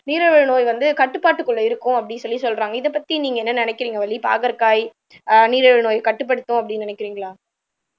நீரிழிவு நோய் வந்து கட்டுப்பாட்டுக்குள்ள இருக்கும் அப்படின்னு சொல்லி சொல்றாங்க இதைப்பத்தி நீங்க என்ன நினைக்கிறீங்க வள்ளி பாகற்காய் ஆஹ் நீரிழிவு நோயை கட்டுப்படுத்தும் அப்படின்னு நினைக்கிறீங்களா